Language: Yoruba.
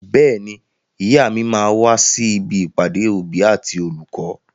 Bẹ́ẹ̀ni, ìyá mi máa wà sí ibi ìpàdé òbí àti olùkọ́.